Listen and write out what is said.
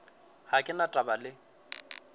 ga ke na taba le